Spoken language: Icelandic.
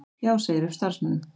Já segir upp starfsmönnum